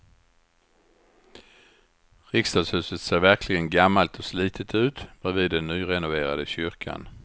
Riksdagshuset ser verkligen gammalt och slitet ut bredvid den nyrenoverade kyrkan.